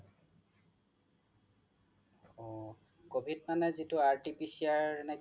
অ covid মানে যিটো RTPCR